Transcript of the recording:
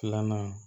Filanan